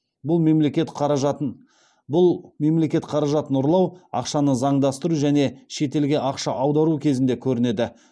бұл мемлекет қаражатын ұрлау ақшаны заңдастыру және шетелге ақша аудару кезінде көрінеді